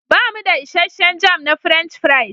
Bamu da isasshen jam na French fries.